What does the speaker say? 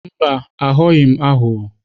Mba, aghọghị m aghụghọ.